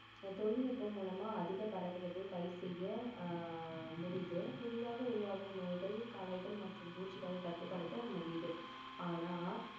இந்த தொழில்நுட்பம் மூலமா அதிக பயிர் செய்ய ஆஹ் முடியுது புதிதாக உருவாகும் நோய்கள், களைகள் மற்றும் பூச்சிகளை கட்டுப்படுத்த முடியுது ஆனா